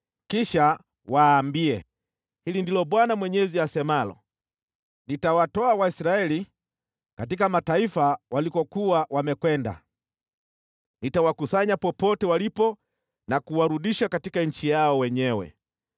kisha waambie, ‘Hili ndilo Bwana Mwenyezi asemalo: Nitawatoa Waisraeli katika mataifa walikokuwa wamekwenda. Nitawakusanya popote walipo na kuwarudisha katika nchi yao wenyewe.